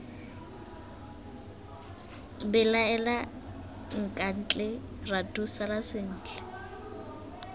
belaela nkatle ratu sala sentle